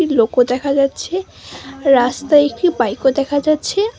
লোকও দেখা যাচ্ছে রাস্তায় একটি বাইক -ও দেখা যাচ্ছে।